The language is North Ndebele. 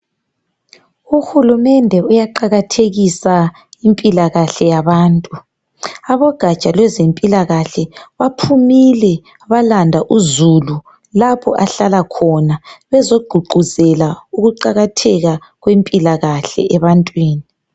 UHulumende uyaqakathekisa impilakahle yabantu. Abogatsha lwezempilakahle baphumile balanda uzulu lapho ahlala khona bezoguquzela ukuqakatheka kwempilakahle ebantwini.